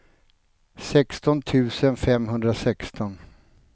sexton tusen femhundrasexton